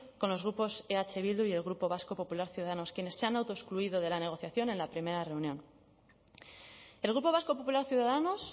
con los grupos eh bildu y el grupo vasco popular ciudadanos quienes se han autoexcluido de la negociación en la primera reunión el grupo vasco popular ciudadanos